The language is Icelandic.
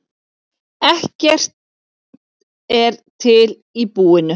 Ekkert er til í búinu.